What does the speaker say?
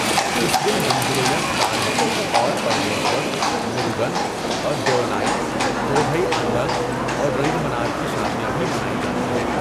اس دن مندروں میں پاروتی اور پرمیشور، مروگن اور دیوانائی، کودھئی آنڈال اور رنگمنار کی شادیاں بھی منائی جاتی ہیں۔